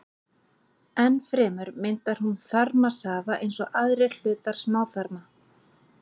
Enn fremur myndar hún þarmasafa eins og aðrir hlutar smáþarma.